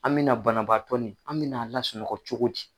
An mɛna banabaatɔ ni an mɛna lasunɔgɔ cogo di.